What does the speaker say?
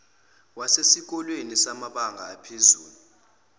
wasesikoleni samabanga aphezulu